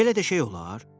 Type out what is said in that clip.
Belə də şey olar?